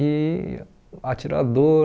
e atirador.